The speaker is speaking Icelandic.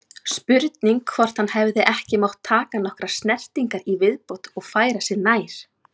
Spurning hvort hann hefði ekki mátt taka nokkrar snertingar í viðbót og færa sig nær?